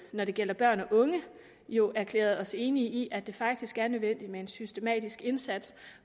når det gælder børn og unge jo erklæret os enige i at det faktisk er nødvendigt med en systematisk indsats